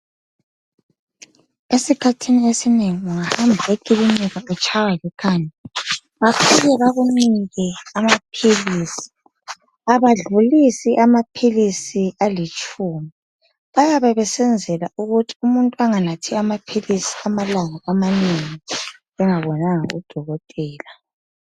Isikhathini esinengi ungahamba ekilinika utshaywa likhanda. Bafika bakunike amaphilisi. Abadlulisi amaphilisi alitshumi. Bayabe besenzela ukuthi umuntu anganathi amaphilisi amalanga amanengi engabonanga udokotela.